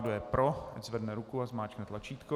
Kdo je pro, ať zvedne ruku a zmáčkne tlačítko.